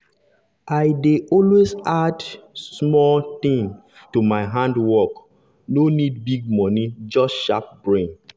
i dey always add dey always add small new thing to my handwork no need big money just sharp brain.